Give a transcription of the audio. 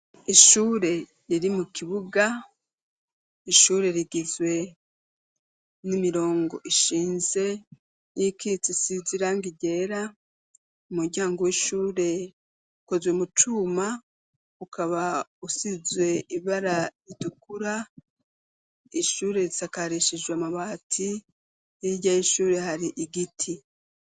Ishure riri mu kibuga ishure rigizwe n'imirongo ishinze niyikitse isize irangi ryera, umuryango w'ishure ukozwe mucuma ukaba usizwe ibara ritukura ishure risakarishijwe amabati hirya y'ishure hari igiti.